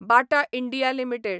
Bata India limited